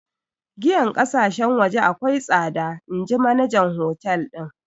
Giyan ƙasashen waje akwai tsada inji manajan hotel din.